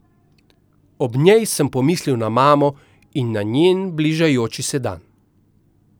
Ob njej sem pomislil na mamo in na njen bližajoči se dan.